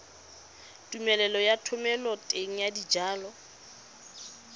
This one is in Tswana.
tumelelo ya thomeloteng ya dijalo